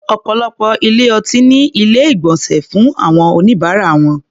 Ọ̀pọ̀lọpọ̀ ilé-ọtí ní Ilé-ìgbọ̀nsẹ̀ fún àwọn oníbàárà wọn